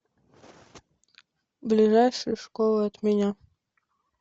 ближайшая школа от меня